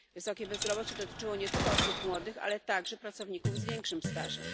Wysokie bezrobocie dotyczyło nie tylko osób młodych, ale także pracowników z większym stażem.